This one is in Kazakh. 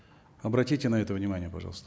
обратите на это внимание пожалуйста